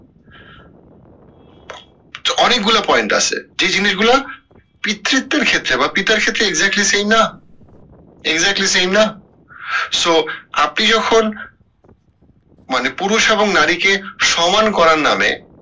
অনেকগুলা point আছে যে জিনিস গুলা পিতৃত্বের ক্ষেত্রে বা পিতার ক্ষেত্রে exactly same না exactly same না so আপনি যখন মানে পুরুষ এবং নারীকে সমান করার নামে